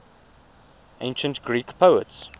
ancient greek poets